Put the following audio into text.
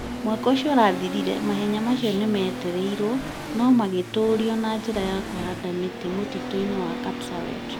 Mwaka ũcio ũrathirire, mahenya macio nĩ materirio, no magĩtũũrio na njĩra ya kũhanda mĩtĩ mũtitũ-inĩ wa Kapseret,